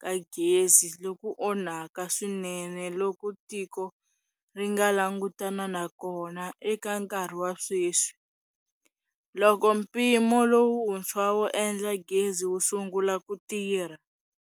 ka gezi loku onhaka swinene loku tiko ri nga langutana na kona eka nkarhi wa sweswi, loko mpimo lowuntshwa wo endla gezi wu sungula ku tirha.